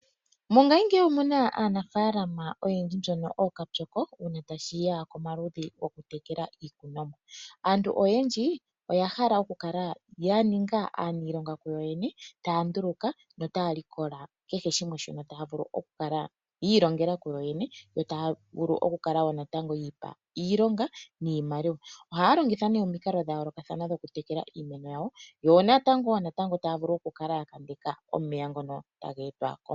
Mongayingeyi omuna aanafaalama oyendji mbono ookapyoko uuna tashiya komaludhi gokutekela iimeno. Aantu oyendji oya hala okukala yaninga aaniilonga kuyoyene taya nduluka no taya likola keheshimwe, taya vulu okukala yiilongela kuyoyene yo taya vulu okukala wo natango yiipa iilonga niimaliwa. Ohaya longitha ne omikalo dhayoolokathana dhokutekela iimeno yawo, yonatango natango taya vulu okukala yakambeka oomeya ngono taga hepa ko.